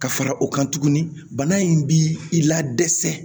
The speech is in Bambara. Ka fara o kan tuguni bana in b'i la dɛsɛ